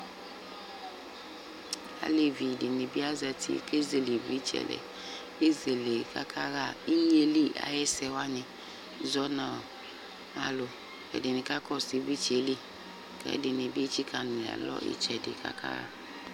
Alevi dɩnɩ bɩ azati kʋ ezele ɩvlɩtsɛ lɛ Ezele kʋ akaɣa inye yɛ li ayʋ ɛsɛ wanɩ zɔ nʋ alʋ Ɛdɩnɩ kakɔsʋ ɩvlɩtsɛ yɛ li kʋ ɛdɩnɩ bɩ etsikǝ nʋ alɔ ɩtsɛdɩ kʋ aka